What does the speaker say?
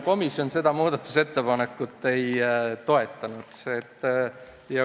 Komisjon seda muudatusettepanekut ei toetanud.